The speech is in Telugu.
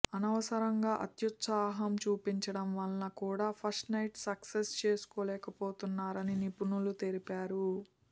అనవసరంగా అత్యుత్సాహం చూపించడం వల్ల కూడా ఫస్ట్ నైట్ సక్సెస్ చేసుకోలేకపోతున్నారని నిపుణులు తెలిపారు